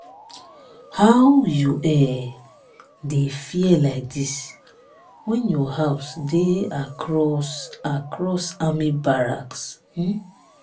how you um dey fear like dis when your house dey across across army barracks? um